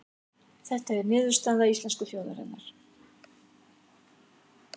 Þetta sé niðurstaða íslensku þjóðarinnar